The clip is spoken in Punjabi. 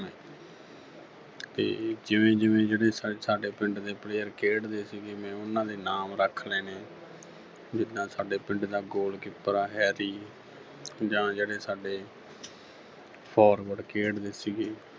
ਤੇ ਜਿਵੇਂ-ਜਿਵੇਂ ਜਿਹੜੇ ਸਾਡੇ ਪਿੰਡ ਦੇ player ਖੇਡਦੇ ਸੀਗੇ, ਮੈਂ ਉਨ੍ਹਾਂ ਦੇ ਨਾਮ ਰੱਖ ਲੈਣੇ ਜਿਦਾਂ ਸਾਡੇ ਪਿੰਡ ਦਾ goalkeeper ਆ harry ਜਾਂ ਜਿਹੜੇ ਸਾਡੇ forward ਖੇਡਦੇ ਸੀਗੇ